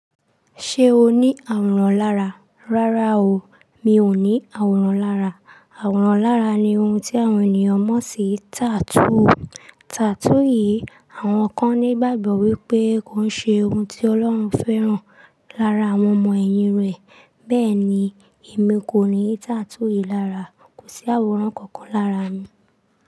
Ṣé o ní àwòrán lára? Rárá o, mi ò ní àwòrán lára. Àwòrán lara ni ohun tí àwọn ènìyàn mọ̀ sí tattoo. Tattoo yìí, àwọn kan ní ìgbàgbọ́ wípé kò ń ṣe ohun tí Ọlọ́run fẹ́ràn lára àwọn ọmọ ẹ̀yìn rẹ̀. Bẹ́ẹ̀ ni, èmi kò ní tattoo yìí lára. Kò sí àwòrán kankan lára mi.